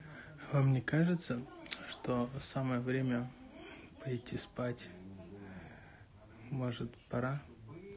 вам мне кажется что самое время пойти спать может пора